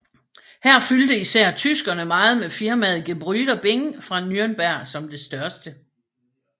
Her fyldte især tyskerne meget med firmaet Gebrüder Bing fra Nürnberg som det største